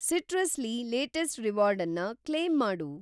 Citrus ಲಿ latest ರಿವಾರ್ಡನ್ನ claim ಮಾಡು.